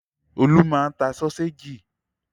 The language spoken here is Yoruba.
Olú máa ń ta sọ́séjì.